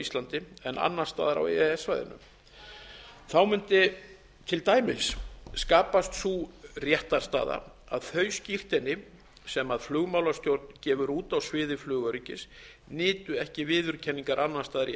íslandi en annars staðar á e e s svæðinu þá mundi til dæmis skapast sú réttarstaða að þau skírteini sem flugmálastjórn gefur út á sviði flugöryggis nytu ekki viðurkenningar annars staðar í